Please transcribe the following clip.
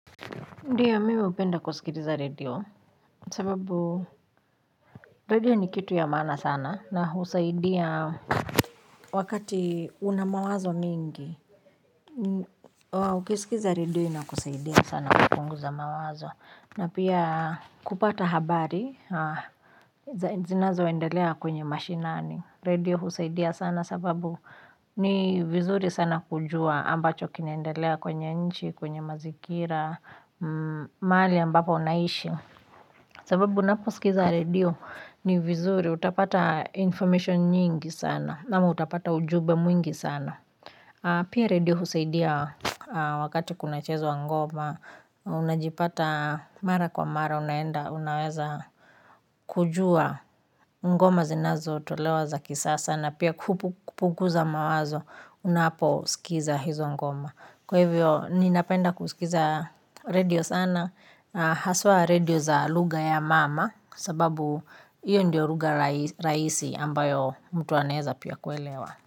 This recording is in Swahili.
Ndiyo mimi hupenda kuskiliza redio, sababu redio ni kitu ya maana sana na husaidia wakati unamawazo mengi, ukiskiza redio inakusaidia sana kupunguza mawazo. Na pia kupata habari, ze zinazoendelea kwenye mashinani. Redio husaidia sana sababu ni vizuri sana kujua ambacho kinaendelea kwenye nchi, kwenye mazingira, mahali ambapo unaishi. Sababu unaposkiza redio ni vizuri, utapata information nyingi sana, ama utapata ujumbe mwingi sana. Pia redio husaidia wakati kunachezwa ngoma, unajipata mara kwa mara, unaenda, unaweza kujua ngoma zinazotolewa za kisasa na pia kupu kupuguza mawazo, unaposkiza hizo ngoma. Kwa hivyo ninapenda kuskiza redio sana na haswa redio za lugha ya mama sababu iyo ndio rugha rahi rahisi ambayo mtu anaeza pia kuelewa.